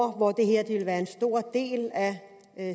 hvor det her vil være en stor del af